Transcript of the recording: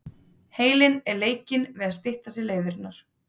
Heilinn er leikinn við að stytta sér leiðirnar.